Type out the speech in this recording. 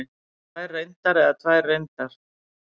Tvær reyndar eða tvær reyndar?